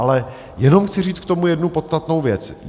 Ale jenom chci říct k tomu jednu podstatnou věc.